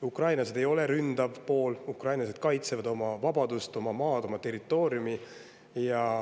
Ukrainlased ei ole ründav pool, ukrainlased kaitsevad oma vabadust, oma maad, oma territooriumi.